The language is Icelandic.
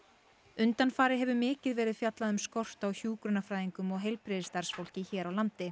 undanfarið hefur mikið verið fjallað um skort á hjúkrunarfræðingum og heilbrigðisstarfsfólki hér á landi